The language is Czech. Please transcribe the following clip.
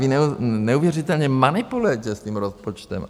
Vy neuvěřitelně manipulujete s tím rozpočtem.